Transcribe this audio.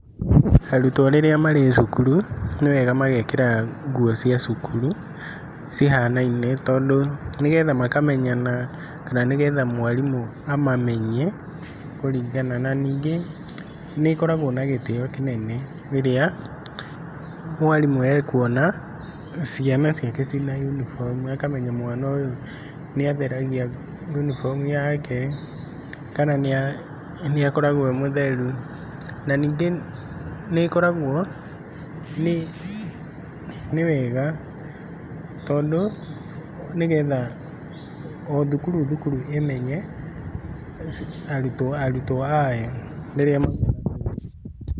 Arutwo rĩrĩa marĩ cukuru nĩ wega magekĩra nguo cia cukuru, cihanaine tondũ, nĩgetha makamenyana kana nĩgetha mwarimũ amamenye na ningĩ nĩ koragwo na gĩtĩo kĩnene rĩrĩa mwarimũ ekwona cia ciake ciĩna uniform ũkamenya mwana ũyũ nĩ atheragia nguo uniform yake kana nĩ akoragwo e mũtheru na ningĩ nĩ koragwo, nĩ wega tondũ, nĩgetha o thukuru o thukuru ĩmenye arutwo ayo.